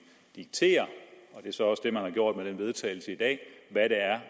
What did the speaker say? diktere og det er så også det man har gjort med det vedtagelse i dag hvad det er